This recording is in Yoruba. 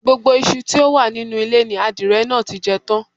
Gbogbo iṣu tí ó wà nínú ilé ni adìrẹ náà ti jẹ tán